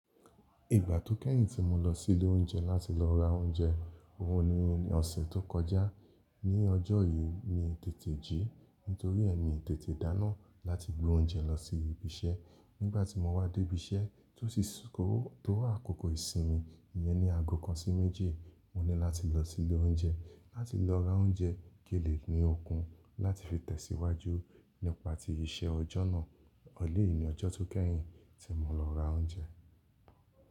Ìgbà tó kẹ́yìn tí mo lọ sí ilé oúnjẹ láti lọ ra oúnjẹ òun ni ọ̀sẹ̀ tó kọjá. Ni ọjọ́ yìí mi tètè jí nítorí yen mi tètè dáná láti gbé oúnjẹ lọ sí ibi iṣẹ́. Nígbà tí mo wá dé ibi iṣẹ́ tó sì sú ko tó àkòkò ìsinmi iyẹn ní ago kan sí méjì, mo ní láti lọ sí ilé oúnjẹ láti lọ ra oúnjẹ kinlé ní okun láti fi tẹ̀síwájú nípa ti iṣẹ́ ọjọ́ náà. Elẹyìí ni ọjọ́ tó kẹ́yìn tí mo lọ ra oúnjẹ.